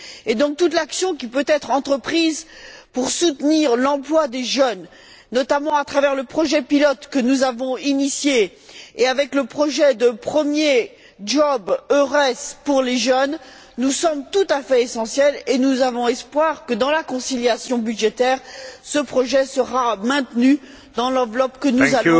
Par conséquent, toute l'action qui peut être entreprise pour soutenir l'emploi des jeunes, notamment à travers le projet pilote que nous avons amorcé et le projet de premier emploi EURES pour les jeunes, nous semble tout à fait essentielle et nous espérons que dans la conciliation budgétaire, ce projet sera maintenu dans l'enveloppe que nous avons